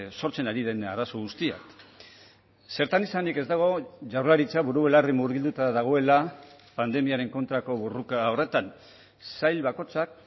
sortzen ari den arazo guztia zertan esanik ez dago jaurlaritza buru belarri murgilduta dagoela pandemiaren kontrako borroka horretan sail bakoitzak